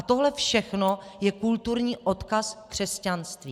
A tohle všechno je kulturní odkaz křesťanství.